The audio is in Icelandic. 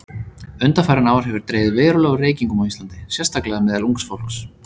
Undanfarin ár hefur dregið verulega úr reykingum á Íslandi, sérstaklega meðal ungs fólks.